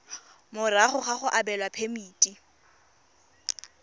morago ga go abelwa phemiti